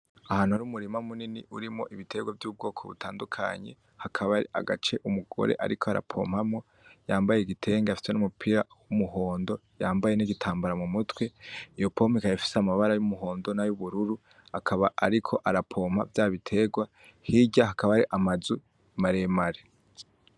Ahantu har'umurima munini urimwo ibiterwa bitandukanye ,hakabari agace umugore ariko arapompamwo yambaye igitenge afise n'umupira w'umuhondo, yambaye n'igitambara mu mutwe, iyo pompo ikaba ifis'amabara y'umuhondo, nay'ubururu akaba ariko arapompa vyabiterwa, hirya hakaba hari amazu maremare.